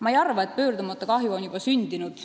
Ma ei arva, et pöördumatu kahju on juba sündinud.